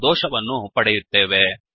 ಎಂಬ ದೋಷವನ್ನು ಪಡೆಯುತ್ತೇವೆ